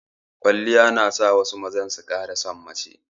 Kwaliya na sa wasu mazan su ƙara san mace